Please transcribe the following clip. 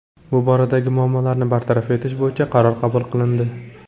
Bu boradagi muammolarni bartaraf etish bo‘yicha qaror qabul qilindi.